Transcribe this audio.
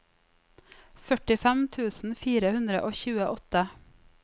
førtifem tusen fire hundre og tjueåtte